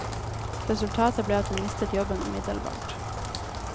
Resultatet ble at hun mistet jobben umiddelbart.